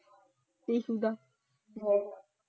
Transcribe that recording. Issue ਦਾ ਜਵਾਈ ਹੈ।